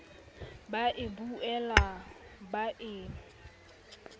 ba e butswela ba e